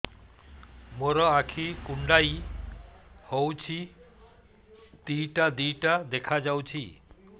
ମୋର ଆଖି କୁଣ୍ଡାଇ ହଉଛି ଦିଇଟା ଦିଇଟା ଦେଖା ଯାଉଛି